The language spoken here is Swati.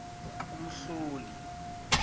umhloli